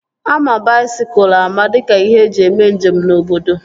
Ama baisikụl ama dịka ihe eji mee njem na obodo